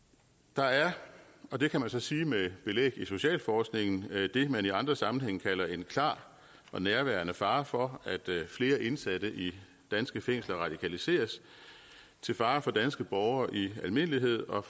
der er det og det kan man så sige med belæg i socialforskningen man i andre sammenhænge kalder en klar og nærværende fare for at flere indsatte i danske fængsler radikaliseres til fare for danske borgere i almindelighed og